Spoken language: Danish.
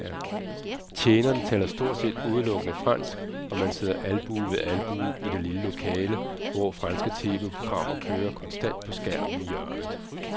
Tjenerne taler stort set udelukkende fransk, og man sidder albue ved albue i det lille lokale, hvor franske tv-programmer kører konstant på skærmen i hjørnet.